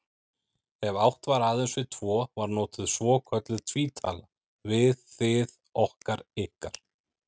Ef átt var aðeins við tvo var notuð svokölluð tvítala, við, þið, okkar, ykkar.